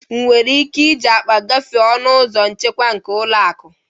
Ị nwere ike iji akpa a gafere ọnụ ụzọ nchekwa nke ụlọ akụ?